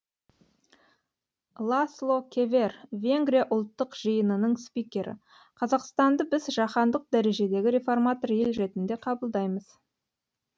ласло кевер венгрия ұлттық жиынының спикері қазақстанды біз жаһандық дәрежедегі реформатор ел ретінде қабылдаймыз